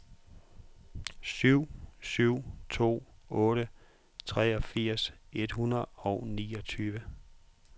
syv syv to otte treogfirs et hundrede og niogtyve